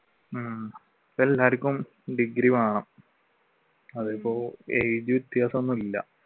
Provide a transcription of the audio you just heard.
ഉം ഇപ്പോൾ എല്ലാവര്ക്കും ഡിഗ്രി വേണം അതിപ്പോ age വ്യത്യാസം ഒന്നും ഇല്ല.